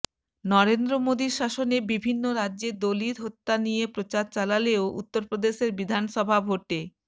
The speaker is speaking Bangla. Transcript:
নরেন্দ্র মোদীর শাসনে বিভিন্ন রাজ্যে দলিত হত্যা নিয়ে প্রচার চালালেও উত্তরপ্রদেশের বিধানসভা ভোটে